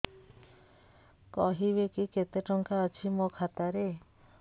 କହିବେକି କେତେ ଟଙ୍କା ଅଛି ମୋ ଖାତା ରେ